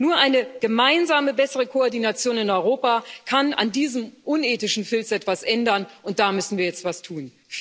Nur eine gemeinsame, bessere Koordination in Europa kann an diesem unethischen Filz etwas ändern und da müssen wir jetzt etwas tun.